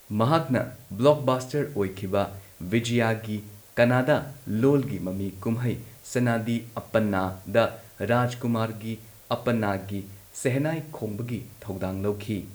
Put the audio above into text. ꯃꯍꯥꯛꯅ ꯕ꯭ꯂꯣꯛꯕꯥꯁꯇꯔ ꯑꯣꯏꯈꯤꯕ ꯕꯤꯖꯌꯒꯤ ꯀꯟꯅꯗꯥ ꯂꯣꯜꯒꯤ ꯃꯃꯤ ꯀꯨꯝꯍꯩ ꯁꯅꯥꯗꯤ ꯑꯞꯄꯟꯅꯥꯗ ꯔꯥꯖꯀꯨꯃꯥꯔꯒꯤ ꯑꯞꯄꯟꯅꯥꯒꯤ ꯁꯦꯍꯅꯥꯏ ꯈꯣꯡꯕꯒꯤ ꯊꯧꯗꯥꯡ ꯂꯧꯈꯤ꯫